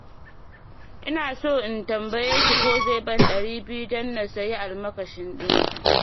Ina so in tambaye shi ko zai ban 200 don in sayi almakashin ɗinki.